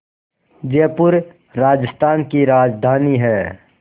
जयपुर राजस्थान की राजधानी है